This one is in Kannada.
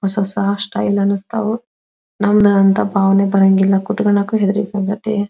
ಹೊಸ ಹೊಸಾ ಸ್ಟೈಲ್ ಅನ್ನಿಸ್ತವು ನಂದು ಅಂತ ಭಾವನೆ ಬರಂಗಿಲ್ಲ ಕೂತ್ಕಣಕು ಹೆದ್ರಿಕೆ ಮತ್ತೆ --